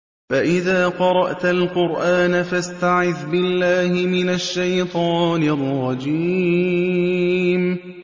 فَإِذَا قَرَأْتَ الْقُرْآنَ فَاسْتَعِذْ بِاللَّهِ مِنَ الشَّيْطَانِ الرَّجِيمِ